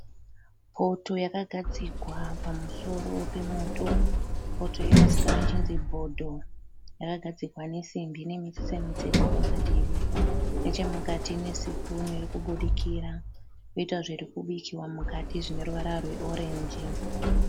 Poto yakagadzikwa pamusoro pemoto, poto iyi inozikanwa ichinzi bhodho. Yakagadzigwa nesimbi inemitstse pamadivi, nechimukati ine sipunu irikubudikira koita zvirikubikwa mukati zvineruvara rweorenji.